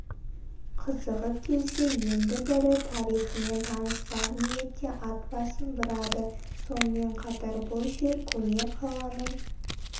қызығып келсе енді бірі тарихымен таныспақ ниетте атбасын бұрады сонымен қатар бұл жер көне қаланың